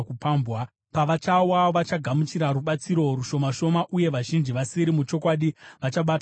Pavachawa vachagamuchira rubatsiro rushoma shoma, uye vazhinji vasiri muchokwadi vachabatana navo.